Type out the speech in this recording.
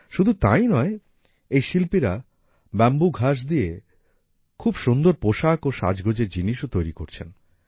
শুধু তাই নয় এই শিল্পীরা বাম্বু ঘাস দিয়ে খুব সুন্দর পোশাক ও সাজগোজের জিনিসও তৈরি করছেন